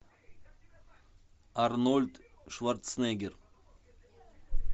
арнольд шварценеггер